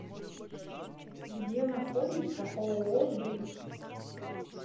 где находится ооо бриг